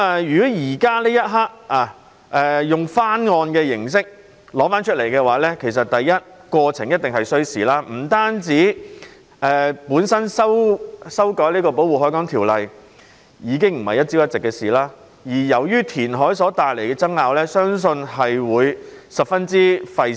如果此刻以翻案的形式提出，過程一定需時，本身修訂《條例》已經不是一朝一夕所能做到的事，而填海所帶來的爭拗相信亦會十分費時。